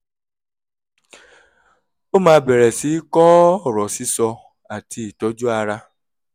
ó máa bẹ̀rẹ̀ sí í kọ́ ọ̀rọ̀ sísọ àti ìtọ́jú ara